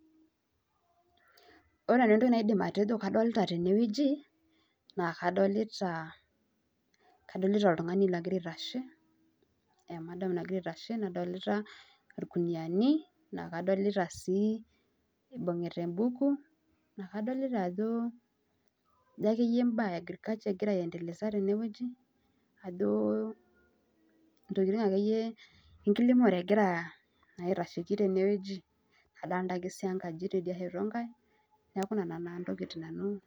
Ore entoki nadolita tene wueji naa kadolita oltungani ogira aitashe emadam nagira aitashe nadolita ilkunuyiani nadolita sii ibungita embuku naa kajo imbaa enkiremore egira aendeleza tene ajo enkiremore egira aitashiki tene wueji adolita sii enkaji teidie